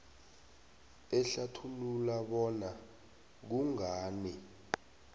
ehlathulula bona kungani